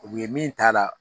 U ye min t'a la